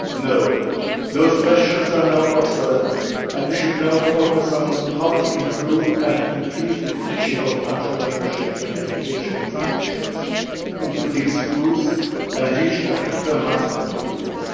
No, those questions are now obsolete, and we should focus on how to improve and increase the teaching of entrepreneurship in educational institutions, including schools, and how to reach a critical mass of pupils.